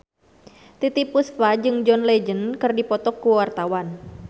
Titiek Puspa jeung John Legend keur dipoto ku wartawan